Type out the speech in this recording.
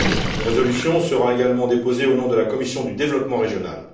Une résolution sera également déposée au nom de la commission du développement régional.